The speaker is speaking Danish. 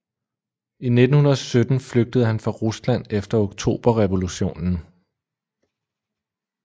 I 1917 flygtede han fra Rusland efter oktoberrevolutionen